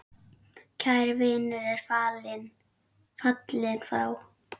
Kær vinur er fallinn frá.